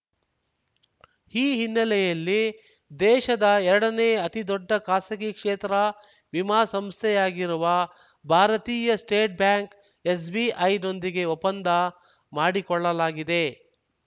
ಈ ಹಿನ್ನೆಲೆಯಲ್ಲಿ ದೇಶದ ಎರಡನೇ ಅತಿದೊಡ್ಡ ಖಾಸಗಿ ಕ್ಷೇತ್ರ ವಿಮಾ ಸಂಸ್ಥೆಯಾಗಿರುವ ಭಾರತೀಯ ಸ್ಟೇಟ್‌ ಬ್ಯಾಂಕ್‌ಎಸ್‌ಬಿಐ ನೊಂದಿಗೆ ಒಪ್ಪಂದ ಮಾಡಿಕೊಳ್ಳಲಾಗಿದೆ